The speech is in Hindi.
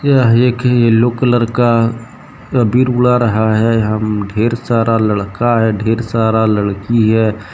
यह एक येलो कलर का अबीर उडा रहा है हम ढेर सारा लड़का है ढेर सारा लड़की है।